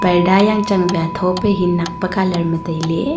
parda yangchang ba tho pe he nak pe colour ma tailey.